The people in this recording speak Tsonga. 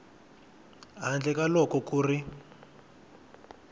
handle ka loko ku ri